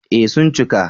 Eh sun cika